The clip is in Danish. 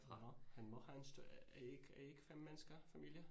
Nåh han må have en, er i ikke, er i ikke 5 mennesker familie?